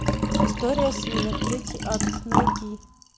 история свинок третий акт найди